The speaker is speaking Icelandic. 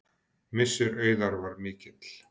Missir Auðar var mikill.